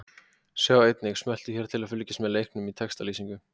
Sjá einnig: Smelltu hér til að fylgjast með leiknum í textalýsingu